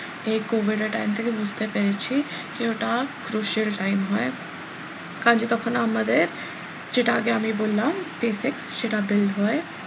এই covid এর time থেকে বুঝতে পেরেছি যে ওটা crucial time হয় কারন কি তখন আমাদের যেটা আগে আমি বললাম basic সেটা build হয়।